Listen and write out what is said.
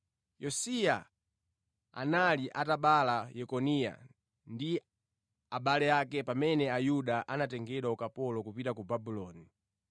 Yosiya anali atabala Yekoniya ndi abale ake pamene Ayuda anatengedwa ukapolo kupita ku Babuloni.